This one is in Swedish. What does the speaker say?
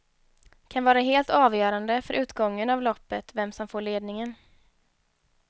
Kan vara helt avgörande för utgången av loppet vem som får ledningen.